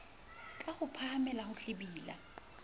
ka ho phahamela ho hlwibila